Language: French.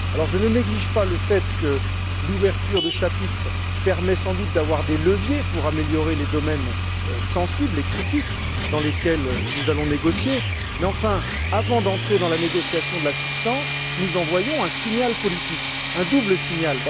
Je ne néglige pas le fait que l'ouverture de chapitres permet sans doute d'avoir des leviers pour améliorer les domaines sensibles et critiques dans lesquels nous allons négocier, mais enfin, avant d'entrer dans la négociation de la substance, nous envoyons un signal politique, un double signal.